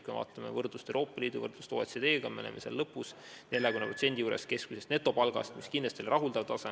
Kui me vaatame võrdlust teiste Euroopa Liidu ja OECD riikidega, siis me oleme lõpus, 40% juures keskmisest netopalgast, mis kindlasti ei ole rahuldav tase.